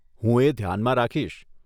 હું એ ધ્યાનમાં રાખીશ.